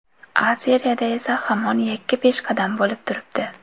A Seriyada esa hamon yakka peshqadam bo‘lib turibdi.